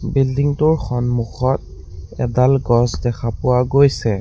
বিল্ডিঙটোৰ সন্মুখত এডাল গছ দেখা পোৱা গৈছে।